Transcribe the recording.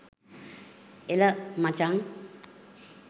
එල මචං